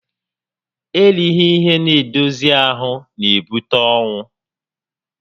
Erighi ihe n'edozi ahụ n'ebute ọnwụ